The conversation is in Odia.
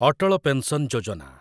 ଅଟଳ ପେନ୍ସନ୍ ଯୋଜନା